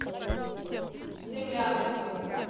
цимлянску